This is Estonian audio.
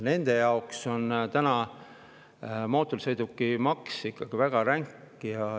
Nende jaoks on mootorsõidukimaks ikkagi väga ränk.